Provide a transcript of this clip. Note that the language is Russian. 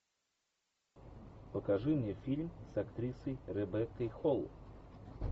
покажи мне фильм с актрисой ребеккой холл